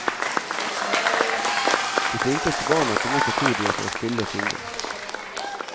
De flinkeste barna kom opp på podiet for å spille og synge.